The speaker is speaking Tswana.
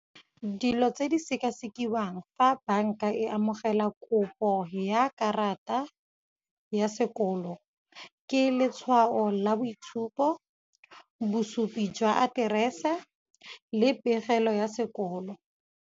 Dilo tse di sekasekiwang fa banka e amogela kopo ya karata ya sekolo ke letshwao la boitshupo, bosupi jwa aterese le pegelo ya sekolo.